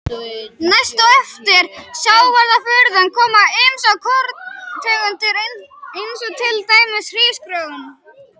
Næst á eftir sjávarafurðum koma ýmsar korntegundir eins og til dæmis hrísgrjón.